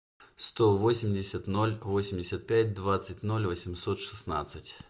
сто восемьдесят ноль восемьдесят пять двадцать ноль восемьсот шестнадцать